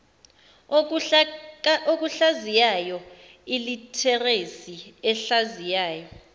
okuhlaziyayo ilitheresi ehlaziyayo